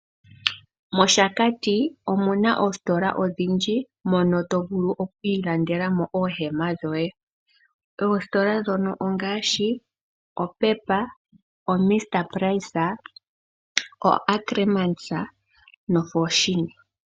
Moshakati omuna oositola odhindji moka tovulu okwiilandelamo oohema dhoye. Oositola dhono ongaashi oPep, Ackermans, oFoschini noMr price.